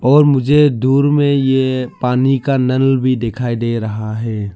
और मुझे दूर में ये पानी का नल भी दिखाई दे रहा है।